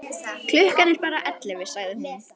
Klukkan er bara ellefu, sagði hún.